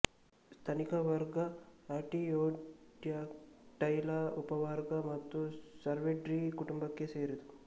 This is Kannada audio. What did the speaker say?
ಸ್ತನಿಕ ವರ್ಗ ಆರ್ಟಿಯೋಡ್ಯಾಕ್ಟೈಲ ಉಪವರ್ಗ ಹಾಗೂ ಸರ್ವಿಡೀ ಕುಟುಂಬಕ್ಕೆ ಸೇರಿದೆ